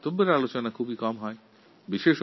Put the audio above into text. কিন্তু এই বিষয়ে বিশেষ আলোচনা হয় না